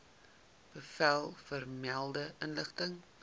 bevel vermelde inrigting